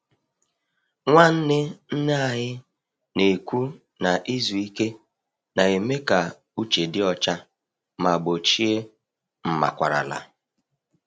Nwanne nne anyị na-ekwu na izu ike na-eme ka uche dị ọcha ma gbochie mmakwarala.